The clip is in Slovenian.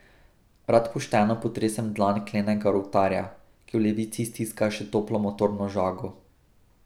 Rad pošteno potresem dlan klenega rovtarja, ki v levici stiska še toplo motorno žago.